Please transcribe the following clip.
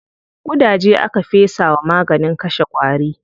Ƙudaje aka fesa wa maganin kashe ƙwari.